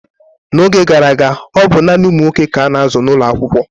n'oge gara aga, ọ bụ naanị ụmụ nwoke ka a na-azụ n'ụlọ akwụkwọ